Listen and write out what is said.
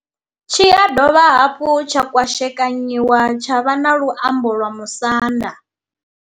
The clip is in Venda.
Tshi ya dovha hafhu tsha kwashekanyiwa tsha vha na luambo lwa Musanda.